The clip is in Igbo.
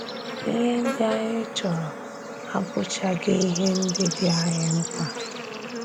Íhe ndị anyị chọrọ abụ̀chaghị ihe ndị dị́ anyị mkpa.